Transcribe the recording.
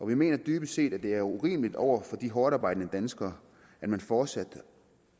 vi mener dybest set at det er urimeligt over for de hårdtarbejdende danskere at man fortsætter